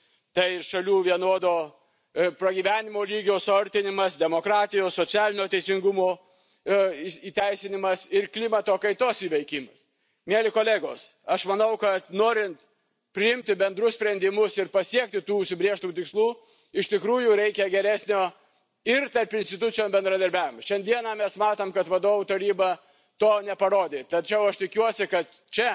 tai šalių vienodo pragyvenimo lygio suartinimas, demokratijos, socialinio teisingumo įteisinimas ir klimato kaitos įveikimas. Mieli kolegos, aš manau, kad norint priimti bendrus sprendimus ir pasiekti tų užsibrėžtų tikslų iš tikrųjų reikia geresnio ir tarpinstitucinio bendradarbiavimo. Šiandieną mes matome, kad Vadovų Taryba to neparodė, tačiau aš tikiuosi, kad čia,